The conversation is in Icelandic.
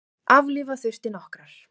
Aflífa þurfti nokkrar.